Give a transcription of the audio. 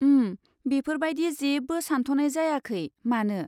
उम, बेफोर बायदि जेबो सान्थ'नाय जायाखै, मानो?